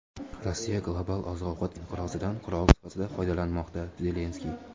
Rossiya global oziq-ovqat inqirozidan qurol sifatida foydalanmoqda – Zelenskiy.